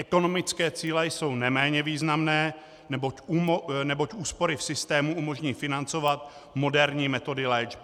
Ekonomické cíle jsou neméně významné, neboť úspory v systému umožní financovat moderní metody léčby.